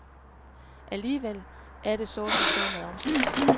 Alligevel er det så som så med omsætningen.